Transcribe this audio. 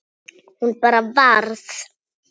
Hún bara varð.